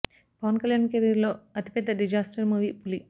Pawan Kalyan career లో అతి పెద్ద డిజాస్టర్ మూవీ పులి